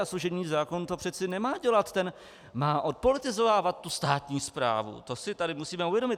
A služební zákon to přece nemá dělat, ten má odpolitizovávat tu státní správu, to si tady musíme uvědomit.